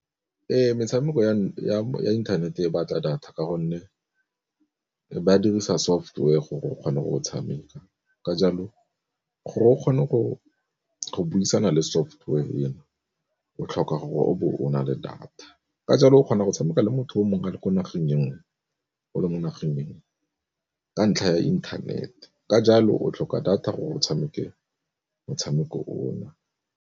Ee, metshameko ya inthanete e batla data ka gonne ba dirisa software gore o kgone go tshameka. Ka jalo gore o kgone go buisana le software eno o tlhoka gore o bo o na le data ka jalo o kgona go tshameka le motho o mongwe le ko nageng e nngwe o le mo nageng e nngwe, ka ntlha ya inthanete ka jalo o tlhoka data gore o tshameke motshameko o na.